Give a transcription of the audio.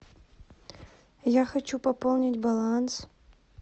я хочу пополнить баланс